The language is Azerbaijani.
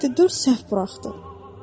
üstəgəlməkdə dörd səhv buraxdım.